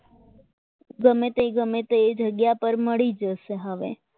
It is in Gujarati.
ગમે તે જગ્યા પર મળી જશે હવે